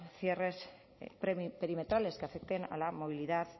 cierres perimetrales que afecten a la movilidad